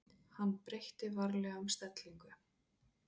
Hann breytti varlega um stellingu.